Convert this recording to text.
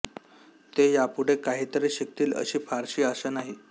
ते यापुढे काही तरी शिकतील अशी फारशी आशा नाही